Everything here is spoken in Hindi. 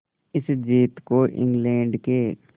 इस जीत को इंग्लैंड के